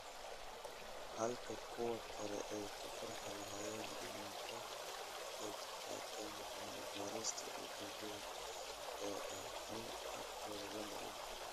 Halka kuwa kale ay ku farxi lahaayeen inay ka qaybqaataan cilmi-baarista ujeeddada keliya ee ah in codkooda la maqlo.